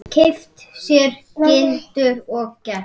Keypti sér gyltur og gelti.